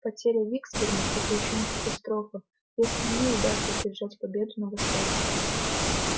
потеря виксберга это ещё не катастрофа если ли удастся одержать победу на востоке